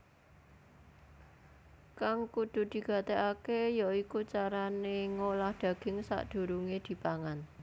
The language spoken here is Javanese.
Kang kudu digatékaké ya iku carané ngolah daging sadurungé dipangan